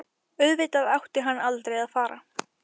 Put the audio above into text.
Auðvitað átti hann aldrei að fara.